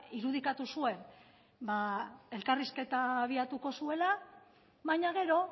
irudikatu zuen elkarrizketa abiatuko zuela baina gero